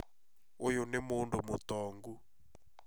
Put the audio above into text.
ũyũ nĩ mũndũ mũtongu